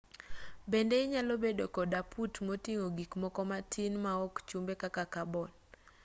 bende inyalo bedo kod aput moting'o gikmoko matin ma ok chumbe kaka kabon